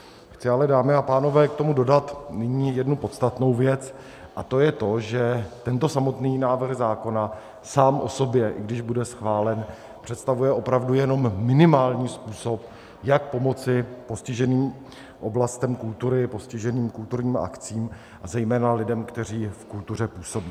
Chci ale, dámy a pánové, k tomu dodat nyní jednu podstatnou věc, a to je to, že tento samotný návrh zákona sám o sobě, i když bude schválen, představuje opravdu jenom minimální způsob, jak pomoci postiženým oblastem kultury, postiženým kulturním akcím a zejména lidem, kteří v kultuře působí.